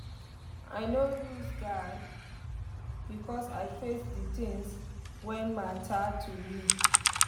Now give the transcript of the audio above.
i nor lose guard becos i face d tins wen matter to me